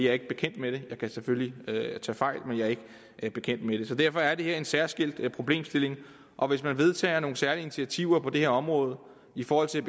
er ikke bekendt med det jeg kan selvfølgelig tage fejl men jeg er ikke bekendt med det så derfor er det her en særskilt problemstilling og hvis man vedtager nogle særlige initiativer på det her område i forhold til